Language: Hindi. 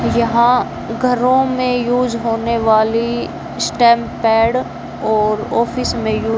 यहां घरों में यूज होने वाली स्टैंप पैड और ऑफिस में यू--